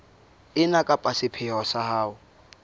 ena ka sepheo sa ho